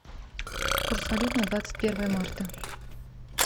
курс валют на двадцать первое марта